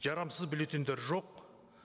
жарамсыз бюллетеньдер жоқ